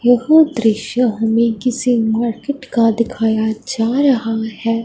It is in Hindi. दृश्य हमें किसी मार्केट का दिखाया जा रहा है।